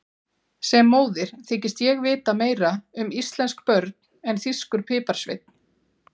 Sem móðir þykist ég vita meira um íslensk börn en þýskur piparsveinn.